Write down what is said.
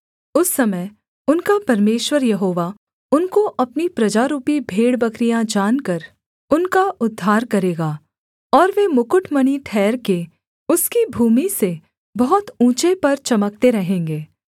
उस समय उनका परमेश्वर यहोवा उनको अपनी प्रजारूपी भेड़बकरियाँ जानकर उनका उद्धार करेगा और वे मुकुटमणि ठहरके उसकी भूमि से बहुत ऊँचे पर चमकते रहेंगे